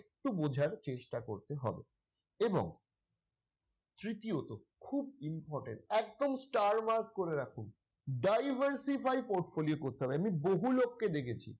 একটু বোঝার চেষ্টা করতে হবে এবং তৃতীয়তঃ খুব important একদম star mark করে রাখুন diversify portfolio করতে হবে এমনি বহু লোককে দেখেছি।